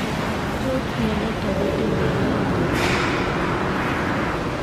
Tos mionitok kotinye gei ak nyorunet kobuunu piik alaak?